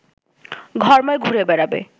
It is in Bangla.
ঘরময় ঘুরে বেড়াবে